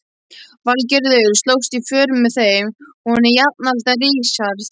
Valgerður slóst í för með þeim, hún var jafnaldra Richards.